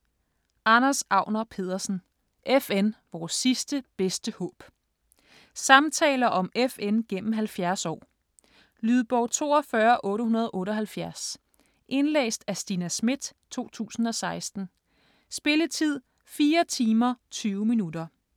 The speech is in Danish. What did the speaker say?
Agner Pedersen, Anders: FN: vores sidste, bedste håb Samtaler om FN gennem 70 år. Lydbog 42878 Indlæst af Stina Schmidt, 2016. Spilletid: 4 timer, 20 minutter.